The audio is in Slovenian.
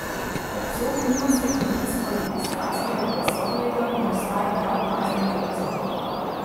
Hercog nima steklenic ali pistacijevega sladoleda in ostaja neopazno v ozadju.